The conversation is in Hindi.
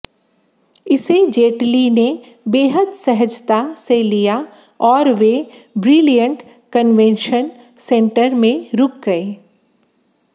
इसे जेटली ने बेहद सहजता से लिया और वे ब्रिलियंट कन्वेंशन सेंटर में रुक गए